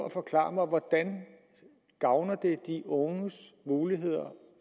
at forklare mig hvordan det gavner de unges muligheder